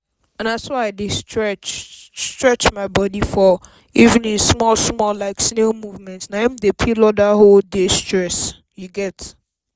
na so i dey stretch stretch my body for evening small small like snail movement. na im dey peel away all dat whole day stress.